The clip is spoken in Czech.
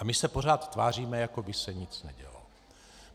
A my se pořád tváříme, jako by se nic nedělo.